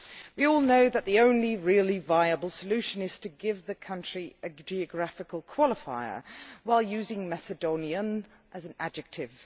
We all know that the only really viable solution is to give the country a geographical qualifier while using Macedonian as an adjective.